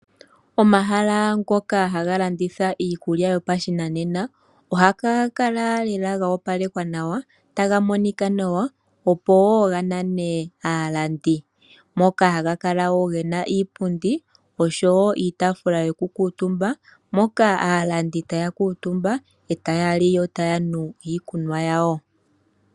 Omahala ngoka haga landitha iikulya yopashinanena ohaga kala ga opalekwa nawa, taga monika nawa, opo wo ganane aalandi. Moka haga kala gena wo iipundi niitaafula yo ku kuutumba moka aalandi taya kuutumba etaya li yo taya nu iikunwa yawo.